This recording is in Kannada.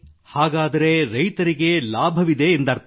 ಹಾಗಾದರೆ ರೈತರಿಗೆ ಲಾಭವಿದೆ ಎಂದರ್ಥ